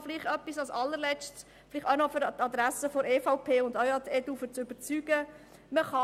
Noch an die Adresse der EVP und auch, um sie zu überzeugen, an die EDU: